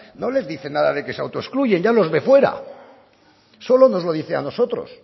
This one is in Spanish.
no les dice nada de que se autoexcluyen ya los ve fuera solo nos lo dice a nosotros